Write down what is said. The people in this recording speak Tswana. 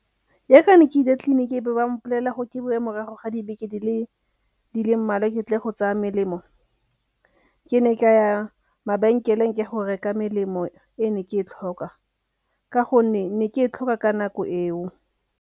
Yaaka ne ke ile tleliniking e be ba mpolelela gore ke boe morago ga dibeke di le mmalwa ke tle go tsaya melemo. Ke ne ka ya mabenkeleng ke ya go reka melemo e ne ke e tlhoka ka gonne ne ke e tlhoka ka nako eo.